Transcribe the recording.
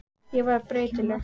Ég var breytileg.